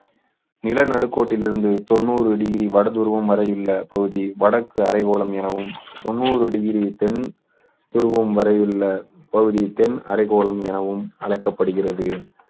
நிலநடுக்கோட்டில் இருந்து தொண்ணூறு டிகிரி வடதுருவம் வரை உள்ள பகுதி வடக்கு அரைக்கோளம் எனவும் தொண்ணூறு டிகிரி தென் துருவம் வரையுள்ள பகுதி தென் அரைக்கோளம் எனவும் அழைக்கப்படுகிறது